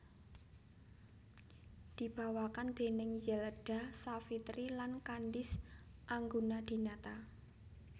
Dibawakan déning Zelda Savitri lan Candice Anggunadinata